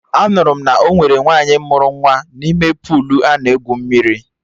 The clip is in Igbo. Anụrụ m na ọ nwere nwaanyị mụrụ nwa n'ime puulu ana egwu mmiri